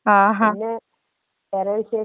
ആ പിന്നെ വേറെ വിശേഷങ്ങൾ?